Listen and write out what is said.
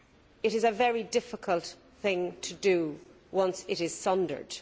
It is a very difficult thing to do once it is sundered.